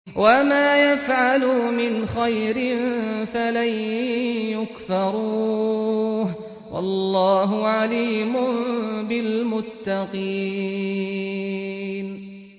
وَمَا يَفْعَلُوا مِنْ خَيْرٍ فَلَن يُكْفَرُوهُ ۗ وَاللَّهُ عَلِيمٌ بِالْمُتَّقِينَ